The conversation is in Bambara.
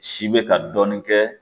Si bɛ ka dɔɔnin kɛ